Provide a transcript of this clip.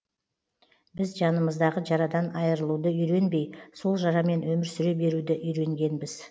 біз жанымыздағы жарадан айырылуды үйренбей сол жарамен өмір сүре беруді үйренгенбіз